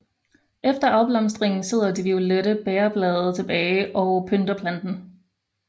Efter afblomstringen sidder de violette bægerblade tilbage og pynter planten